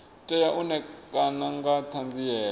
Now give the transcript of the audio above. tea u ṋekana nga ṱhanziela